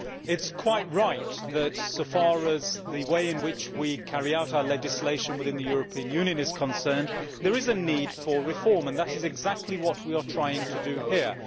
It is quite right that, so far as the way in which we carry out our legislation within the European Union is concerned, there is a need for reform and that is exactly what we are trying to do here.